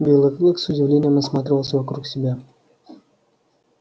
белый клык с удивлением осматривался вокруг себя